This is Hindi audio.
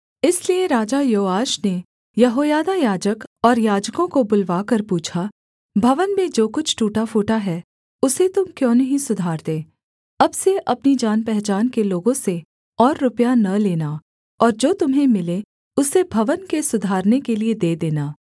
इसलिए राजा योआश ने यहोयादा याजक और याजकों को बुलवाकर पूछा भवन में जो कुछ टूटा फूटा है उसे तुम क्यों नहीं सुधारते अब से अपनी जानपहचान के लोगों से और रुपया न लेना और जो तुम्हें मिले उसे भवन के सुधारने के लिये दे देना